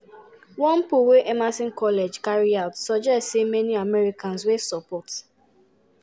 one poll wey emerson college carry out suggest say many americans wey support